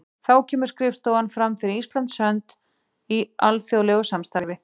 Þá kemur skrifstofan fram fyrir Íslands hönd í alþjóðlegu samstarfi.